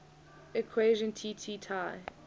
equation tt tai